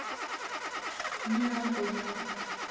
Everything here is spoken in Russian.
нина антонова